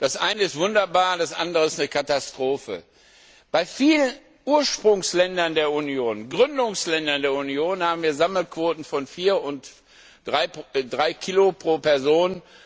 Das eine ist wunderbar, das andere ist eine Katastrophe. Bei vielen Ursprungsländern der Union, Gründungsländern der Union, haben wir Sammelquoten von 4 und 3 kg pro Person.